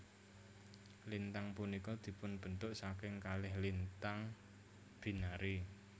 Lintang punika dipunbentuk saking kalih lintang binary